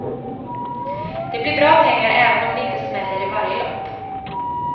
Det blir bra pengar även om det inte smäller i varje lopp.